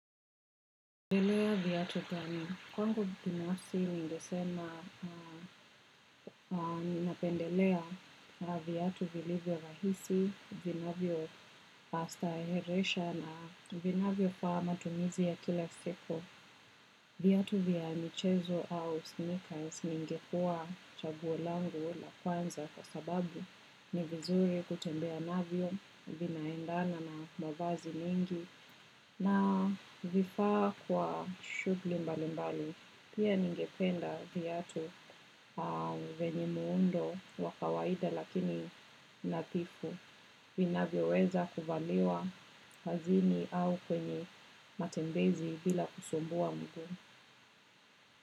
Unapendelea viatu gani, kwangu binafsi ningesema ninapendelea viatu vilivyo rahisi, vinavyopastaheresha na vinavyofaa matumizi ya kila siku. Viatu vya michezo au sneakers ningekuwa chaguo langu la kwanza kwa sababu ni vizuri kutembea navyo vinaendana na mavazi mengi. Na vifaa kwa shughuli mbalimbali, pia ningependa viatu vyenye muundo wa kawaida lakini nadhifu, vinavyoweza kuvaliwa kazini au kwenye matembezi bila kusumbua mguu.